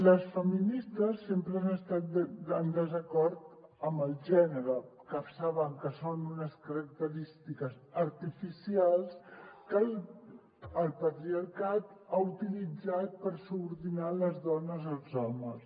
les feministes sempre han estat en desacord amb el gènere que saben que són unes característiques artificials que el patriarcat ha utilitzat per subordinar les dones als homes